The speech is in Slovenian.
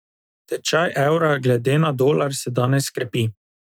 Tečaj evra glede na dolar se danes krepi.